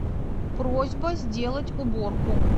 просьба сделать уборку